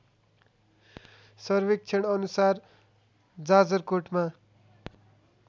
सर्वेक्षण अनुसार जाजरकोटमा